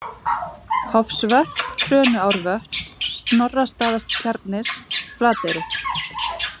Hofsvötn, Trönuárvötn, Snorrastaðatjarnir, Flateyri